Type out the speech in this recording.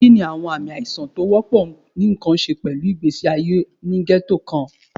Kini awọn aami aisan ti o wọpọ ni nkan ṣe pẹlu igbesi aye ni ghetto kan?